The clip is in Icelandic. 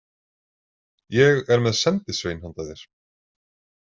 Ég er með sendisvein handa þér.